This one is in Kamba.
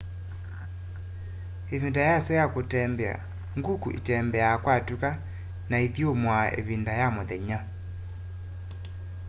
ivinda yasyo ya kutembea nguku itembea kwatuka na iithyumua ivinda ya muthenya